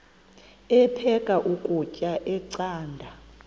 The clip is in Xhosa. aphek ukutya canda